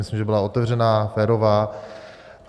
Myslím, že byla otevřená, férová.